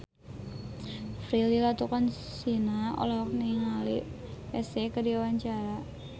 Prilly Latuconsina olohok ningali Psy keur diwawancara